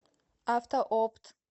автоопт